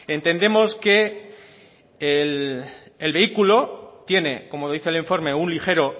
entendemos que el vehículo tiene como dice el informe un ligero